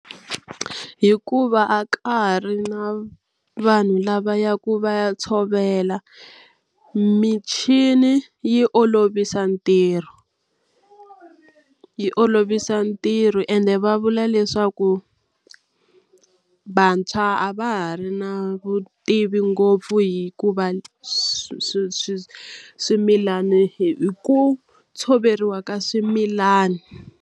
Hikuva a ka ha ri na vanhu lava ya ku va ya tshovela michini yi olovisa ntirho, yi olovisa ntirho ende va vula leswaku vantshwa a va ha ri na vutivi ngopfu hikuva swi swi swimilana hi ku tshoveriwa ka swimilani.